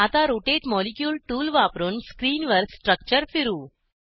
आता rotate molecule tool वापरुन स्क्रीनवर स्ट्रक्चर फिरवू